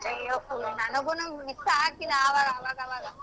ಅಯ್ಯೋ ನನಗುನು miss ಅವಾಗ್ ಅವಾಗ ಅವಾಗ.